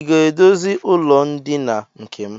I ga-edozi ụlọndina nke m?